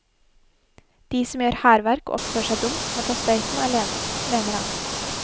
De som må gjøre hærverk og oppføre seg dumt, får ta støyten alene, mener han.